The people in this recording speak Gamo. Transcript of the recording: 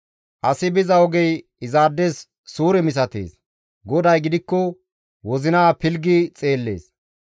Asi biza ogey izaades suure misatees; GODAY gidikko wozinaa pilggi xeellees.